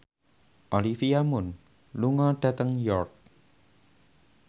Olivia Munn lunga dhateng York